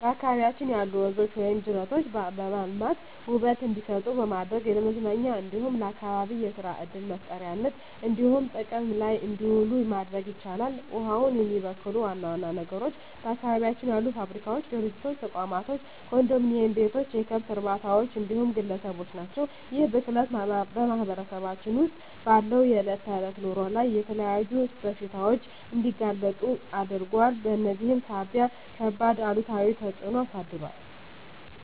በአካባቢያችን ያሉ ወንዞች ወይም ጅረቶችን በማልማት ውበት እንዲሰጡ በማድረግ ለመዝናኛ እንዲሁም ለአካባቢ የሰራ ዕድል መፍጠሪያነት እንዲሆኑ ጥቅም ላይ እንዲውሉ ማድረግ ይቻላል። ውሃውን የሚበክሉ ዋና ዋና ነገሮች በአካባቢያችን ያሉ ፋብሪካዎች፣ ድርጅቶች፣ ተቋማቶች፣ ኮንዶሚኒዬም ቤቶች፣ የከብት እርባታዎች እንዲሁም ግለሰቦች ናቸው። ይህ ብክለት በማህበረሰባችን ውስጥ ባለው የዕለት ተዕለት ኑሮ ላይ ለተለያዩ በሽታዎች እንዲጋለጡ አድርጓል በዚህም ሳቢያ ከባድ አሉታዊ ተፅዕኖ አሳድሯል።